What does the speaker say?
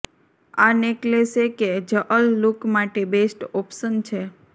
આ નેકલેસે કે જઅલ લુક માટે બેસ્ટ ઓપ્શન છે